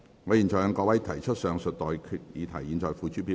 我現在向各位提出上述待決議題，付諸表決。